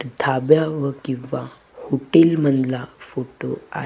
धाब्याव किंवा हुटील मंधला फोटू आ--